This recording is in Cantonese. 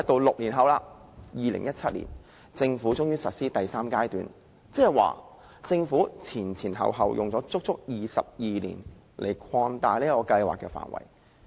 六年後，至2017年，政府終於實施第三階段，即政府前後花了足足22年擴大這項計劃的範圍。